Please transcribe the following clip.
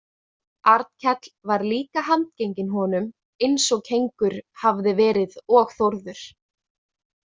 Arnkell var líka handgenginn honum eins og Kengur hafði verið og Þórður.